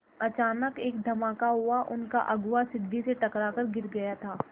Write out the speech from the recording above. अचानक एक धमाका हुआ उनका अगुआ सीढ़ी से टकरा कर गिर गया था